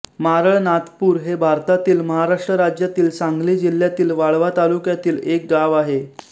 मारळनाथपूर हे भारतातील महाराष्ट्र राज्यातील सांगली जिल्ह्यातील वाळवा तालुक्यातील एक गाव आहे